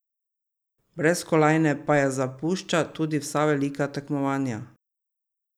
Brez kolajne pa je zapušča tudi vsa velika tekmovanja.